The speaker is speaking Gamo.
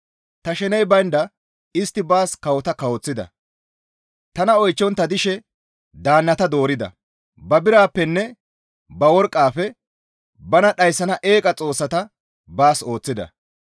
«Ta sheney baynda istti baas kawota kawoththida; tana oychchontta dishe daannata doorida; ba birappenne ba worqqafe bana dhayssana eeqa xoossata baas ooththida.